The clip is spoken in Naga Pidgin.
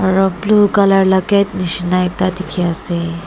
aro pink colour la ka gate nishi ekta dikey ase.